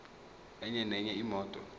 enye nenye imoto